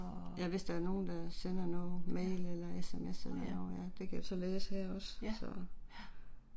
Ja, nåh ja, ja, ja